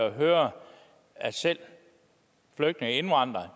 at høre at selv flygtninge og indvandrere